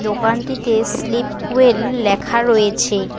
দোকানটিতে sleep well লেখা রয়েছে।